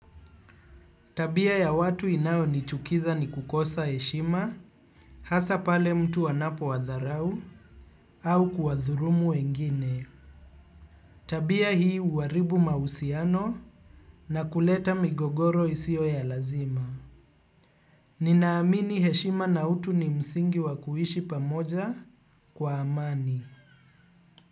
Tabia ya watu inayo nichukiza ni kukosa heshima. Hasa pale mtu anapo wadharau. Au kuwathulumu wengine. Tabia hii uwaribu mausiano na kuleta migogoro isio ya lazima. Ninaamini heshima na utu ni msingi wakuishi pamoja. Kwa amani.